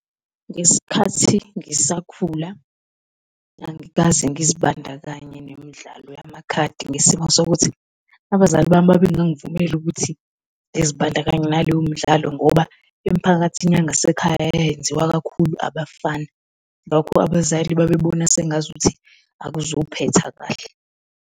Ngesikhathi ngisakhula angikaze ngizibandakanye nemidlalo yamakhadi ngesimo sokuthi abazali bami babengangivumeli ukuthi ngizibandakanya naleyo mdlalo ngoba emphakathini yangasekhaya yayenziwa kakhulu abafana, ngakho abazali babebona sengazuthi akuzuphetha kahle.